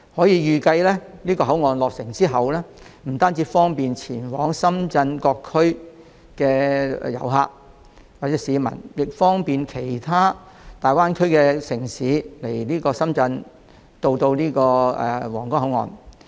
預計口岸落成後將不單可方便前往深圳市各區的遊客和市民，亦可同時方便往來其他大灣區城市及皇崗口岸。